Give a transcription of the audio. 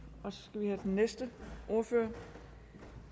næste ordfører og